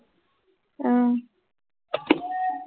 আহ